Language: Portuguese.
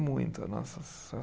Muito a nossa